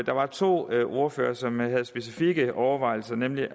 der var to ordførere som havde specifikke overvejelser nemlig